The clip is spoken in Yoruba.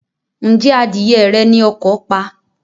Ǹjẹ́ adìyẹ rẹ ni ọkọ̀ pa?